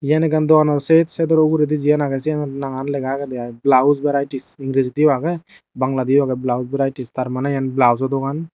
iyen ekkan dogano set sedor uguredi jiyan agey siyan nangan lega agey aai blouse varieties ingrejidiyo agey bangladiyo agey blouse varieties tar maney iyen blouso dogan.